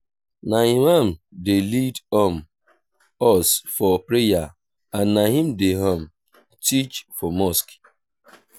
na imam dey lead um us for prayer and na im dey um teach for mosque.